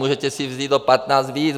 Můžete si vzít o 15 víc.